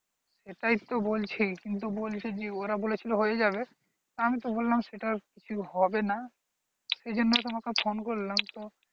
এটাই তো বলছি কিন্তু বলছি যে ওরা বলেছিলো হয়ে যাবে আমি তো বললাম সেটা হবেনা সেই জন্য তোমাকে phone করলাম তো